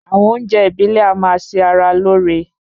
Àwọn oúnjẹ ìbílè a máa ṣe ara lóore